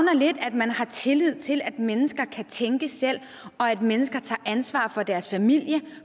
man har tillid til at mennesker kan tænke selv og at mennesker tager ansvar for deres familie